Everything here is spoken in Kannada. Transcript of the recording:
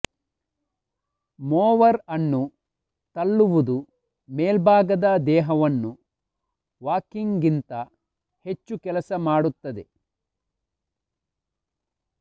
ಮೊವರ್ ಅನ್ನು ತಳ್ಳುವುದು ಮೇಲ್ಭಾಗದ ದೇಹವನ್ನು ವಾಕಿಂಗ್ಗಿಂತ ಹೆಚ್ಚು ಕೆಲಸ ಮಾಡುತ್ತದೆ